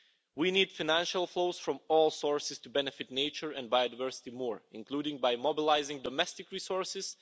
We need financial flows from all sources to benefit nature and biodiversity more, including by mobilising domestic resources.